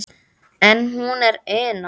Enn er hún Una